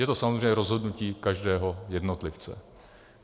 Je to samozřejmě rozhodnutí každého jednotlivce.